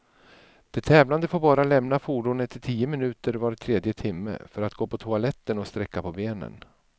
De tävlande får bara lämna fordonet i tio minuter var tredje timme, för att gå på toaletten och sträcka på benen.